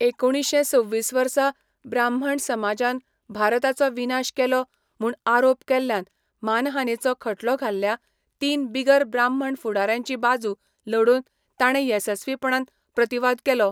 एकुणीशें सव्वीस वर्सा, ब्राह्मण समाजान भारताचो विनाश केलो म्हूण आरोप केल्ल्यान मानहानेचो खटलो घाल्ल्या, तीन बिगर ब्राह्मण फुडाऱ्यांची बाजू लडोवन ताणे येसस्वीपणान प्रतिवाद केलो.